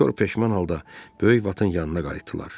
Dörd peşman halda böyük vat yanına qayıtdılar.